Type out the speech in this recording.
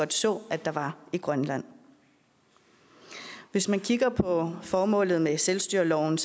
så at der var i grønland hvis man kigger på formålet med selvstyreloven